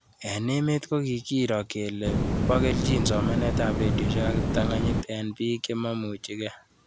Eng' emet ko kikiro kole po kelchin somanet ab redioshek ak kiptang'anyit eng' pik chemaimuchikei